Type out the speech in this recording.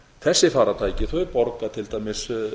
þessi farartæki borga til dæmis